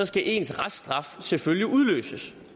skal ens reststraf selvfølgelig udløses